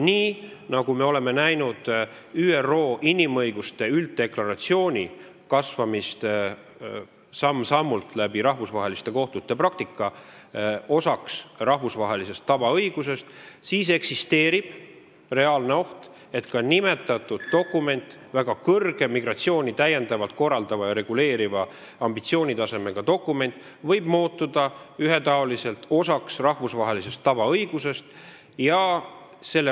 Nii nagu me oleme näinud ÜRO inimõiguste ülddeklaratsiooni kasvamist samm-sammult, rahvusvaheliste kohtute praktika kaudu, rahvusvahelise tavaõiguse osaks, eksisteerib reaalne oht, et ka nimetatud dokument – migratsiooni täiendavalt korraldav ja reguleeriv, väga kõrge ambitsioonitasemega dokument – võib muutuda ühetaoliselt rahvusvahelise tavaõiguse osaks.